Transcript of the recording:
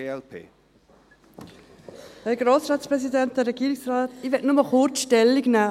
Ich möchte nur kurz Stellung nehmen.